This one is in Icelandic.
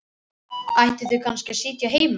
Ættu þau kannski að sitja heima?